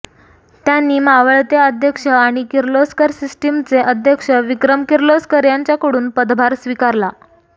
त्यांनी मावळते अध्यक्ष आणि किर्लोस्कर सिस्टिम्सचे अध्यक्ष विक्रम किर्लोस्कर यांच्याकडून पदभार स्वीकारला